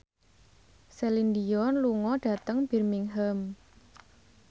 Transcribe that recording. Celine Dion lunga dhateng Birmingham